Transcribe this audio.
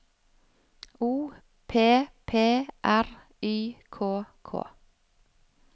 O P P R Y K K